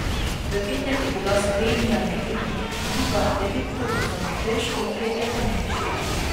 V petek je bila Slovenija na ekipni tekmi druga, devet točk za Norveško, tretja pa Nemčija.